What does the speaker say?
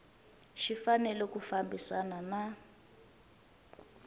xi fanele ku fambisana na